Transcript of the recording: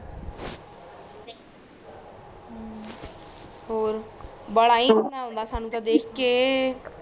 ਔਰ ਬਾਲਾ ਹੀ ਰੋਣਾ ਆਂਦਾ ਸਾਨੂੰ ਤਾ ਦੇਖ ਕੇ